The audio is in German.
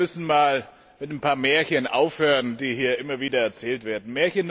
Ich glaube, wir müssen einmal mit ein paar Märchen aufhören, die hier immer wieder erzählt werden.